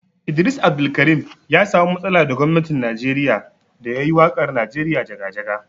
Idris Abdulkarim ya samu matsala da gwamnatin Najeriya da ya yi waƙar Najeriya jaga-jaga.